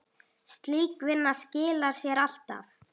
Slík vinna skilar sér alltaf.